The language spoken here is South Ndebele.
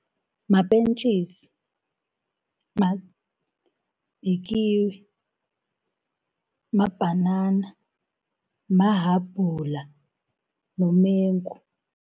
Mapentjisi, yikiwi, mabhanana, mahabhula nomengu.